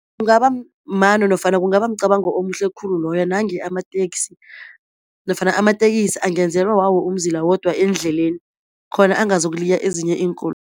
Kungaba mano nofana kungaba mcabango omuhle khulu loyo nange amateksi nofana amatekisi angenzelwa wawo umzila wodwa endleleni khona angazokuliya ezinye